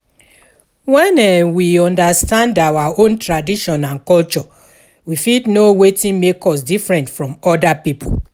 When um we understand our own tradition and culture we fit know wetin make us different from oda pipo